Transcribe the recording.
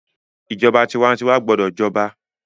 ìjọba tiwantiwa gbọdọ j'oba